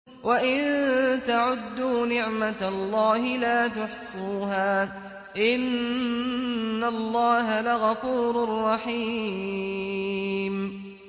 وَإِن تَعُدُّوا نِعْمَةَ اللَّهِ لَا تُحْصُوهَا ۗ إِنَّ اللَّهَ لَغَفُورٌ رَّحِيمٌ